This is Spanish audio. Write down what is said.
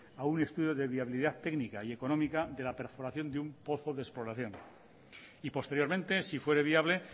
a un estudio de viabilidad técnica y económica de la perforación de un pozo de exploración y posteriormente si fuere viable